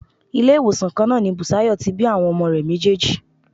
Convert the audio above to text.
Ilé-ìwòsàn kan náà ni Bùsáyọ̀ tí bí àwọn ọmọ rẹ̀ méjèèjì.